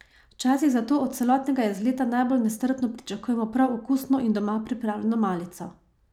Včasih zato od celotnega izleta najbolj nestrpno pričakujemo prav okusno in doma pripravljeno malico.